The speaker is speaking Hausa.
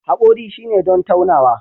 Haƙori shine don taunawa